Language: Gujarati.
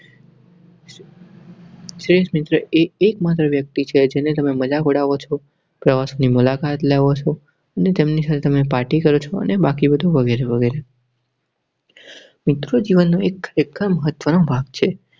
change નહિ થાય. એક માત્ર વ્યક્તિ છે જેને તમે મજાક ઉડાવ છે. પ્રવાસની મુલાકાત લેવા અને તેમની સામે party કરું છું અને બાકી બધું વગેરે વગેરે મિત્ર જીવન નો એક મહત્વનો ભાગ છે.